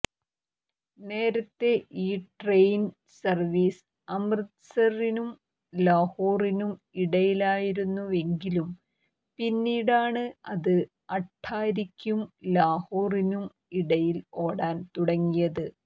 നേരത്തെ ഈ train service അമൃത്സറിനും ലാഹോറിനും ഇടയിലായിരുന്നുവെങ്കിലും പിന്നീടാണ് അത് അട്ടാരിക്കും ലാഹോറിനും ഇടയിൽ ഓടാൻ തുടങ്ങിയത്